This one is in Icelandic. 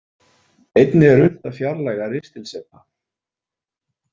Einnig er unnt að fjarlægja ristilsepa.